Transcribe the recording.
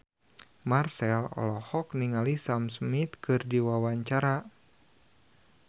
Marchell olohok ningali Sam Smith keur diwawancara